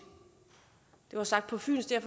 det var sagt på fynsk